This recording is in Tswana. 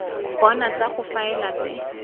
bona tsa go faela tse